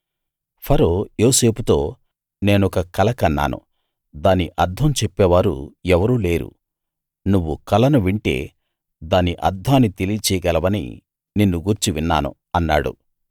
ఫరో యోసేపుతో నేనొక కల కన్నాను దాని అర్థం చెప్పేవారు ఎవరూ లేరు నువ్వు కలను వింటే దాని అర్థాన్ని తెలియచేయగలవని నిన్నుగూర్చి విన్నాను అన్నాడు